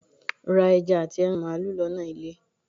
ra eja ati eran malu lona ile.